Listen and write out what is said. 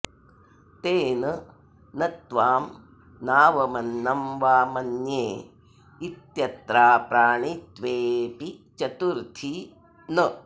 तेन न त्वां नावमन्नं वा मन्ये इत्यत्राप्राणित्वेऽपि चतुर्थी न